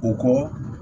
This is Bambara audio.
O kɔ